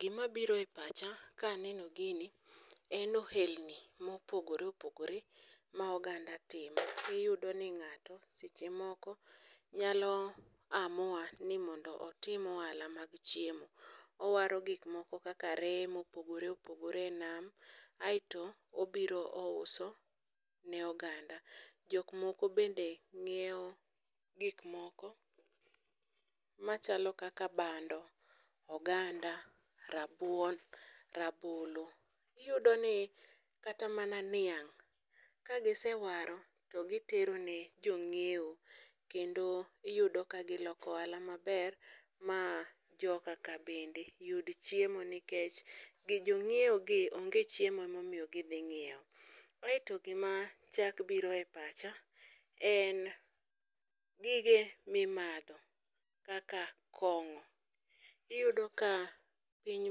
Gima biro e pacha ka aneno gini, en ohelni mopogore opogore ma oganda timo. Iyudo ni ng'ato seche moko nyalo amua ni otim ohala mag chiemo. Owaro gikmoko kaka reye mopogore opogore e nam, aeto obiro ouso ne oganda. Jok moko bende ng'iewo gik moko machalo kaka bando, oganda, rabuon, rabolo. Iyudo ni kata mana niang' kagise waro, to gitero ne jong'iewo kendo iyudo ka giloko ohala maber ma jokaka bende yud chiemo nikech gi jong'iewo gi onge chiemo emomiyo gidhi ng'iewo. Aeto gima chak biro e pacha en gige mimadho kaka kong'o, iyudo ka piny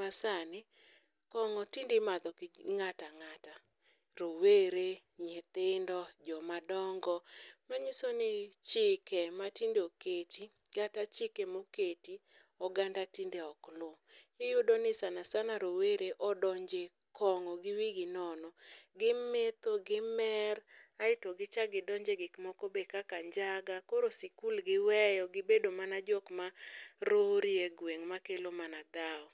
ma sani kong'o tindimadho gi ng'ata ng'ata. Rowere, nyithindo, joma dongo, manyiso ni chike ma tinde oketi, kata chike moketi oganda tinde ok lu. Iyudo ni sana sana rowere odonje kong'o gi wigi nono, gimetho, gimer. Aeto gichak gidonje gik moko be kaka njaga, koro sikul giweyo gibedo mana jok ma rori e gweng' ma kelo mana dhawo.